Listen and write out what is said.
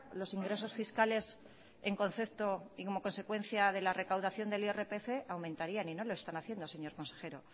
los ingresos fiscales en concepto y como consecuencia de la recaudación del irpf aumentarían y no lo están haciendo señor consejero